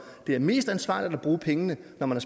det er mest ansvarligt at bruge pengene når man